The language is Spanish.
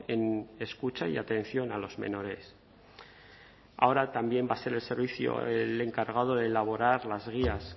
en escucha y atención a los menores ahora también va a ser el servicio el encargado de elaborar las guías